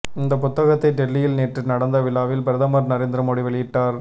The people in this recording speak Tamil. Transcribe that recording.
இந்த புத்தகத்தை டெல்லியில் நேற்று நடந்த விழாவில் பிரதமர் நரேந்திர மோடி வெளியிட்டார்